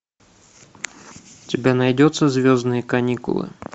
у тебя найдется звездные каникулы